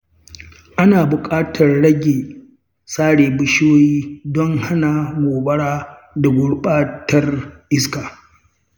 Ana buƙatar rage sare bishiyoyi don hana gobara da gurɓatar iska.